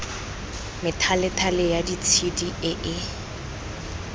methalethale ya ditshedi e e